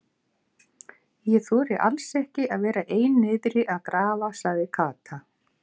Ég þori alls ekki að vera ein niðri að grafa sagði Kata.